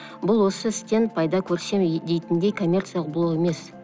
бұл осы істен пайда көрсем дейтіндей коммерциялық блог емес